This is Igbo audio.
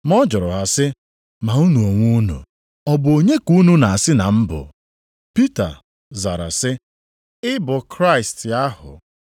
Ma ọ jụrụ ha sị, “Ma unu onwe unu, ọ bụ onye ka unu na-asị na m bụ?” Pita zara sị, “Ị bụ Kraịst + 8:29 Maọbụ, Onye nzọpụta. ahụ.”